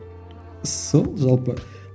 сол жалпы